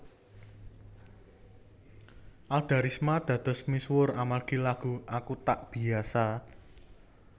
Alda Risma dados misuwur amargi lagu Aku Tak Biasa